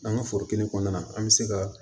An ka foro kelen kɔnɔna na an bɛ se ka